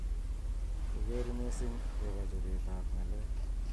koker missing akobo chobet ab ng'alek.